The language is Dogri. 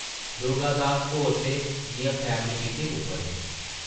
दुर्गा दास होर ते जिʼयां फैमली पिकनिक उप्पर हे ।